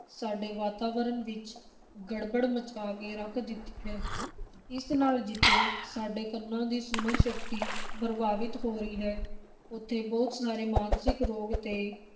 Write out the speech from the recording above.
ਸਾਡੇ-ਵਾਤਾਵਰਨ ਵਿਚ ਗੜਬੜ ਮਚਾ ਕੇ ਰੱਖ ਦਿੱਤੀ ਹੈ, ਇਸ ਨਾਲ ਜਿੱਥੇ ਸਾਡੇ ਕੰਨਾਂ ਦੀ ਸੁਣਨ ਸ਼ਕਤੀ ਪ੍ਰਭਾਵਿਤ ਹੋ ਰਹੀ ਹੈ, ਉੱਥੇ ਬਹੁਤ ਸਾਰੇ ਮਾਨਸਿਕ ਰੋਗ ਤੇ